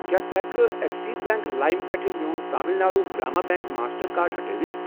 کیٛاہ ژٕ ہٮ۪کہٕ کھہ ایٚکسِس بیٚنٛک لایِم پٮ۪ٹھٕ میون Tamil Nadu Grama bank master card ہٹٲوِتھ؟